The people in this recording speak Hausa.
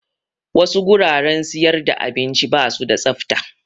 Wasu guraren siyar da abinci basu da tsafta